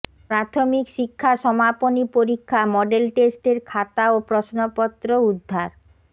প্রাথমিক শিক্ষা সমাপনী পরীক্ষা মডেল টেস্টের খাতা ও প্রশ্নপত্র উদ্ধার